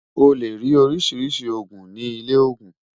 ó lè rí oríṣiríṣi ogún ní ilè ogún